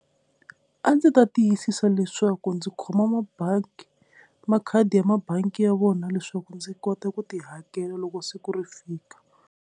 A ndzi ta tiyisisa leswaku ndzi khoma mabangi makhadi ya mabangi ya vona leswaku ndzi kota ku ti hakela loko siku ri fika.